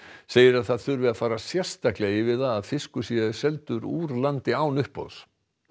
segir að það þurfi að fara sérstaklega yfir það að fiskur sé seldur úr landi án uppboðs